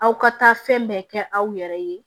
Aw ka taa fɛn bɛɛ kɛ aw yɛrɛ ye